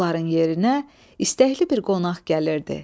Onların yerinə istəkli bir qonaq gəlirdi.